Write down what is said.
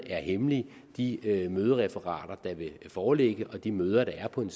er hemmelige de mødereferater der vil foreligge og de møder der er på en